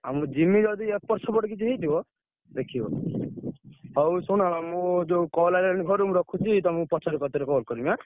ଆଉ ମୁଁ ଯିମି ଯଦି ଏପଟ ସେପଟ କିଛି ହେଇଥିବ ଦେଖିବ ହଉ ଶୁଣ ମୁଁ ଯୋଉ call ଆଇଲାଣି ଘରୁ ମୁଁ ରଖୁଛି।